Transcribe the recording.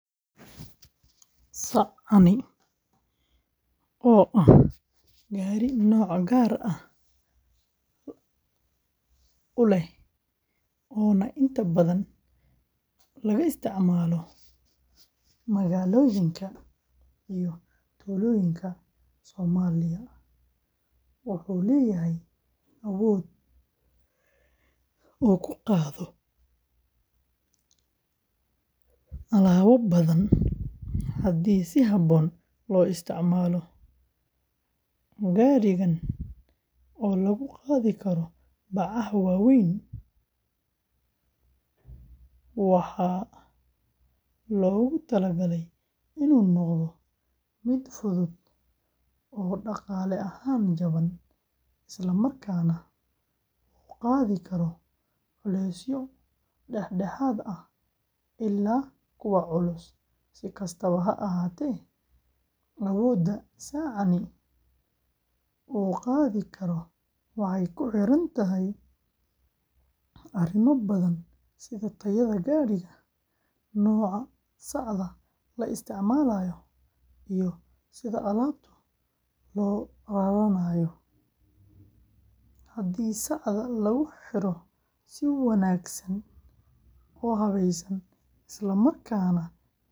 Sacani, oo ah gaadhi nooc gaar ah leh oo inta badan laga isticmaalo magaalooyinka iyo tuulooyinka Soomaaliya, wuxuu leeyahay awood uu ku qaado alaabo badan haddii si habboon loo isticmaalo. Gaadhigan oo lagu qaadi karo bacaha waaweyn waxaa loogu talagalay inuu noqdo mid fudud oo dhaqaale ahaan jaban, isla markaana uu qaadi karo culeysyo dhexdhexaad ah ilaa kuwa culus. Si kastaba ha ahaatee, awoodda sacani uu qaadi karo waxay ku xiran tahay arrimo badan sida tayada gaadhiga, nooca sacda la isticmaalayo, iyo sida alaabtu loo raranayo. Haddii sacda lagu xiro si wanaagsan oo habeysan, isla markaana gaadhigu yahay mid caafimaad qaba.